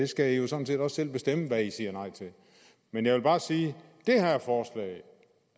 skal jo sådan set også selv bestemme hvad man siger nej til men jeg vil bare sige